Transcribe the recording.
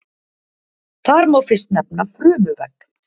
Þar má fyrst nefna frumuvegg.